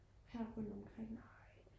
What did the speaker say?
her rundt omkring